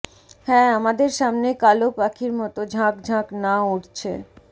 হ্যাঁ আমাদের সামনে কালো পাখির মতো ঝাঁক ঝাঁক না উড়ছে